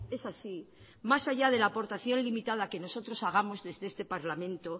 es así más allá de la aportación limitada que nosotros hagamos desde este parlamento